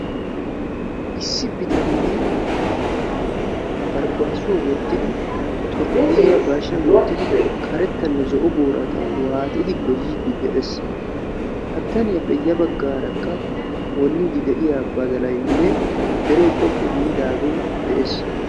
Issi bitanee baribaassuwaa wottidi xurqqayiyaa ba hashshiyaan karettanne zo'o boorata waaxxidi goyyiidi de'ees. ha bitaniyaappe ya baggarakka wonniidi de'iyaa badalayinne deree xoqqu giidaagee de'ees.